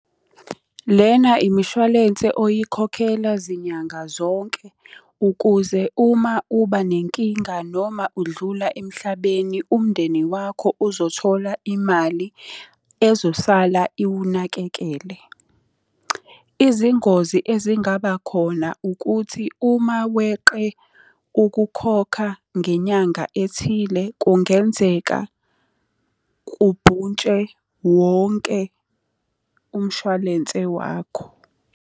Lena imishwalense oyikhokhela zinyanga zonke, ukuze uma uba nenkinga noma udlula emhlabeni umndeni wakho uzothola imali ezosala iwunakekele. Izingozi ezingaba khona ukuthi uma weqe ukukhokha ngenyanga ethile kungenzeka kubhuntshe wonke umshwalense wakho.